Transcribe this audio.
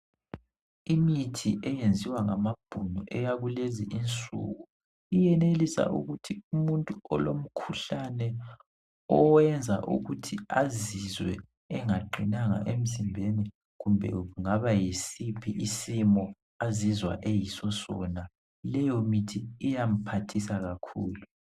Imithi eyenziwa ngamabhunu eyakulezi insuku iyenelisa ukuthi umuntu olomkhuhlane owenza ukuthi azizwe engaqinanga emzimbeni kumbe kungaba yisiphi isimo azizwa eyiso sona leyo mithi iyamphathisa kakhulu